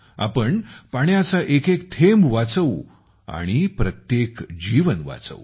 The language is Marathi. आपण पाण्याचा एक एक थेम्ब वाचवू आणि प्रत्येक जीवन वाचवू